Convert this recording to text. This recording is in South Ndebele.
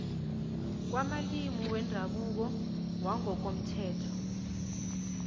kwamalimi wendabuko wangokomthetho